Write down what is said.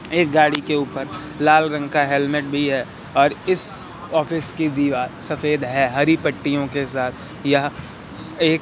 एक गाड़ी के ऊपर लाल रंग का हेलमेट भी है और इस ऑफिस की दीवार सफेद है हरी पट्टियों के साथ यह एक--